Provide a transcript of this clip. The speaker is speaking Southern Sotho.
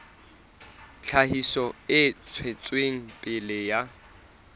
tlhahiso e tswetseng pele ya